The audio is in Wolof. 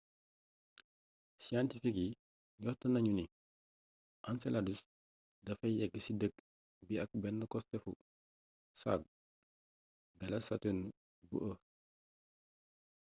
siyentifik yi njort nañu ni enceladus dafay yëggu ci dëkk bi ak benn costéefu saagu galaas saturne bu e